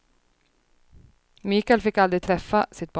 Mikael fick aldrig träffa sitt barn.